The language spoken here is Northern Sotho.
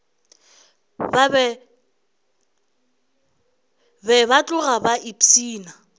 be ba tloga ba ipshina